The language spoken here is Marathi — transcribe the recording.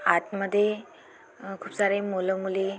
आतमध्ये आ खूप सारे मूल मुली --